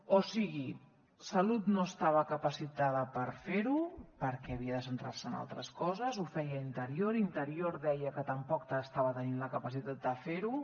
o sigui salut no estava capacitada per fer ho perquè havia de centrar se en altres coses ho feia interior i interior deia que tampoc estava tenint la capacitat de fer ho